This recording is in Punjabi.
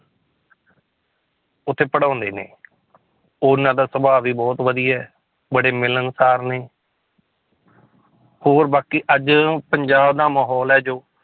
ਉੱਥੇ ਪੜ੍ਹਾਉਂਦੇ ਨੇ ਉਹਨਾਂ ਦਾ ਸੁਭਾਅ ਵੀ ਬਹੁਤ ਵਧੀਆ ਹੈ, ਬੜੇ ਮਿਲਣਸਾਰ ਨੇ ਹੋਰ ਬਾਕੀ ਅੱਜ ਪੰਜਾਬ ਦਾ ਮਾਹੌਲ ਹੈ ਜੋ